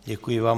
Děkuji vám.